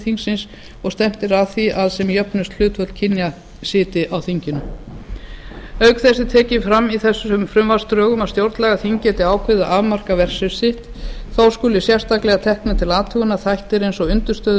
þingsins og að stefnt sé að því að sem jöfnust hlutföll kynjanna sitji á þinginu auk þess er tekið fram í þessum frumvarpsdrögum að stjórnlagaþing geti ákveðið að afmarka verksvið sitt þó skuli sérstaklega teknir til athugunar þættir eins og undirstöður